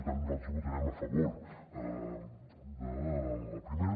per tant nosaltres vota·rem a favor de la primera